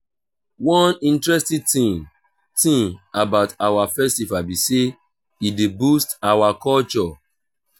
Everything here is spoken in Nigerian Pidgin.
one interesting thing thing about our festival be say e dey boost our culture